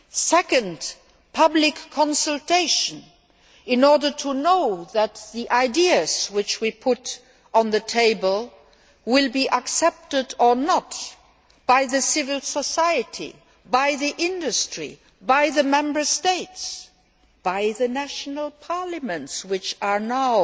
Second, public consultation, in order to know whether the ideas that we put on the table will be accepted or not by civil society, by industry, by the Member States, by the national parliaments, which are now